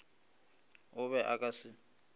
o be a ka se